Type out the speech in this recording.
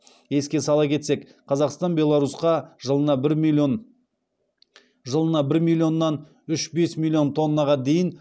еске сала кетсек қазақстан беларусьқа жылына бір миллионнан үш бүтін оннан бес миллион тоннаға дейін